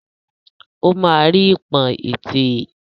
O ma ri ipọn ètè é.